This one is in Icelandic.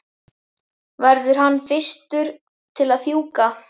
verður hann fyrstur til að fjúka?